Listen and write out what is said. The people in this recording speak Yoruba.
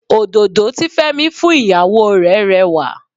Òdòdó tí Fẹ́mi fún ìyàwó rè rẹwà.